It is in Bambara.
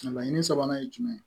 Laɲini sabanan ye jumɛn ye